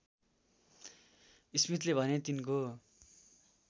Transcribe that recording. स्मिथले भने तिनको